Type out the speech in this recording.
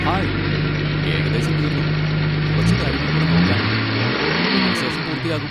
Hi, ഏകദേശം തീർന്നു, കുറച്ച് കാര്യങ്ങൾ കൂടെ നോക്കാനുണ്ട്, ഇതിന് ശേഷം പൂർത്തിയാകും.